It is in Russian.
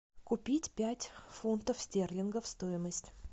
купить пять фунтов стерлингов стоимость